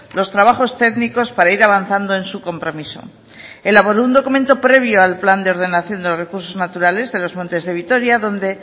los trabajos técnicos para ir avanzando en su compromiso elaboró un documento previo al plan de ordenación de los recursos naturales de los montes de vitoria donde